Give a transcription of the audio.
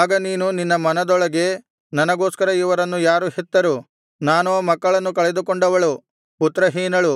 ಆಗ ನೀನು ನಿನ್ನ ಮನದೊಳಗೆ ನನಗೋಸ್ಕರ ಇವರನ್ನು ಯಾರು ಹೆತ್ತರು ನಾನೋ ಮಕ್ಕಳನ್ನು ಕಳೆದುಕೊಂಡವಳು ಪುತ್ರಹೀನಳು